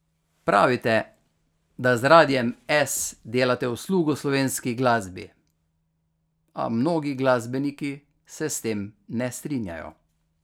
Pravite, da z Radiem S delate uslugo slovenski glasbi, a mnogi glasbeniki se s tem ne strinjajo ...